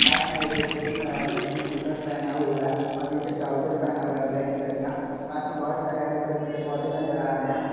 पास में एक व्यक्ति खड़ा है जिसने टी शर्ट पहना हुआ है और नीचे ट्राउजर पहना हुआ है ब्लैक कलर का पास में बहुत सारे पेड़ पौधे हरे भरे नजर आ रहे हैं।